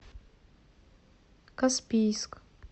каспийск